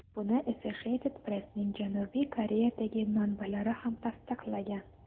Buni Associated Press’ning Janubiy Koreyadagi manbalari ham tasdiqlagan.